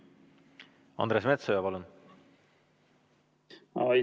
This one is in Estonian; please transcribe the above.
Andres Metsoja, palun!